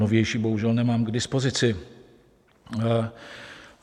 Novější bohužel nemám k dispozici.